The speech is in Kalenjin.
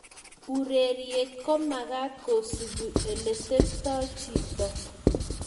Ureriet komakat kosupe oleteptoi chjito